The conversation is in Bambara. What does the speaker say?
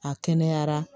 A kɛnɛyara